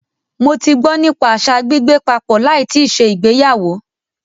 Mó tí gbọ́ nípa àṣa gbígbé papọ̀ láì tíì ṣe ìgbéyàwó.